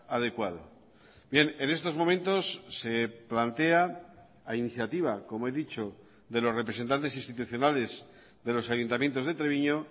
adecuado bien en estos momentos se plantea a iniciativa como he dicho de los representantes institucionales de los ayuntamientos de treviño